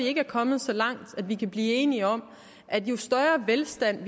ikke er kommet så langt at vi kan blive enige om at jo større velstand